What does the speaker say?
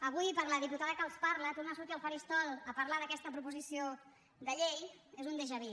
avui per la diputada que els parla tornar a sortir al faristol a parlar d’aquesta proposició de llei és un déjà vu